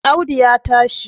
Audu ya tashi